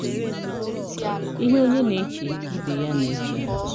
Ihe onye na-eche ka ibe ya na-eche.